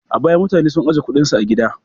A baya, mutane sun ajiye kuɗinsu a gida.